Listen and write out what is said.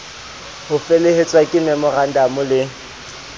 ho felehetswa ke memorandamo le